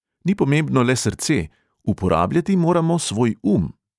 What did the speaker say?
Ni pomembno le srce, uporabljati moramo svoj um.